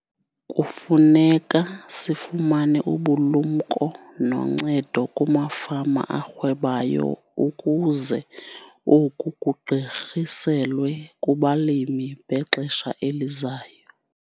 Kufuneka sifumane ubulumko noncedo kumafama arhwebayo ukuze oku kugqirhiselwe kubalimi bexesha elizayo.